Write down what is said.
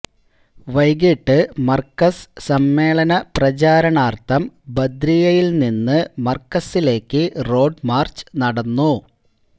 വൈകീട്ട് മർകസ് സമ്മേളന പ്രചാരണാർഥം ബദ്രിയ്യയിൽനിന്ന് മർകസിലേക്ക് റോഡ് മാർച്ച് നടന്നു